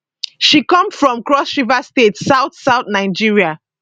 she come from crossriver state southsouth nigeria